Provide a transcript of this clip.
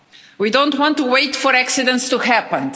We don't want to wait for accidents to happen.